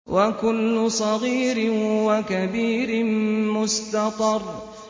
وَكُلُّ صَغِيرٍ وَكَبِيرٍ مُّسْتَطَرٌ